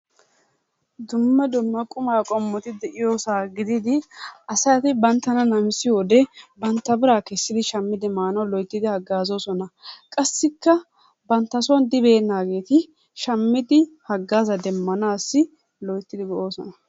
Dumma dumma qumaa qomotti de'yossa gididi asatti banttana namissiyode bantta biraa kessidi shamidi maanawu loyttidi hagazosona. Qasikka bantta sooni dibenagetti shamidi hagazza demanassi loyttidi go'ossona.